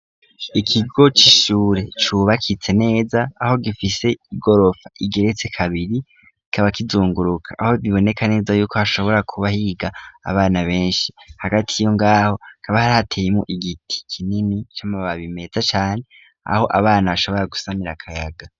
Ikigo cishure cubakitse neza aho gifise igorofa igeretse kabiri kaba kizunguruka aho biboneka neza yuko hashobora kubahiga abana benshi hagati iyo ngaho kaba hrateyemwo igiti kinini c'amababi meza cane aho abana bashobora gusamira akayaga.